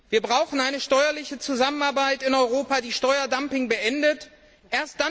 Wir brauchen eine steuerliche Zusammenarbeit in Europa, die Steuerdumping ein Ende setzt.